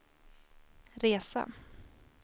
resa